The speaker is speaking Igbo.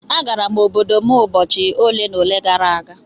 Agara m obodo m ụbọchị ole na ole gara aga.